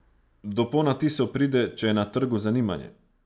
Do ponatisov pride, če je na trgu zanimanje.